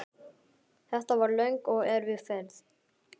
Þetta var löng og erfið ferð.